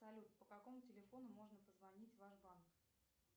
салют по какому телефону можно позвонить в ваш банк